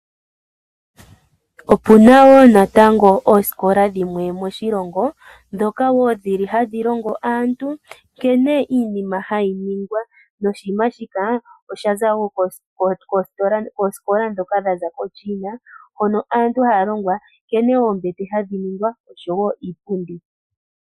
Opena wo naatango osikola dhimwe moshilongo dhoka wo dhili hadhi longo aantu nkene iinima hayi ningwa noshinima shi osha za kosikola dhoka dhaza ko china hono aantu halongwa nkene ombete hadhi ningwa noshowo iipundi